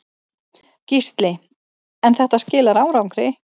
Gísli: En þetta skilar árangri?